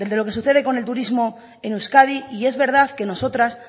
lo que sucede con el turismo en euskadi y es verdad que nosotras